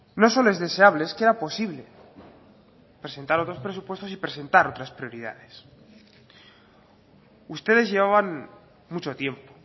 no solo es deseable es que era posible presentar otros presupuestos y presentar otras prioridades ustedes llevaban mucho tiempo